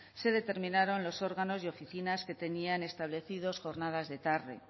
se determinaron los órganos y oficinas que tenían establecidos jornadas de tarde